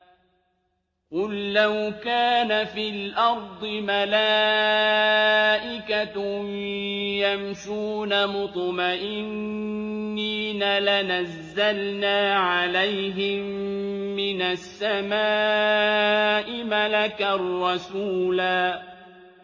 قُل لَّوْ كَانَ فِي الْأَرْضِ مَلَائِكَةٌ يَمْشُونَ مُطْمَئِنِّينَ لَنَزَّلْنَا عَلَيْهِم مِّنَ السَّمَاءِ مَلَكًا رَّسُولًا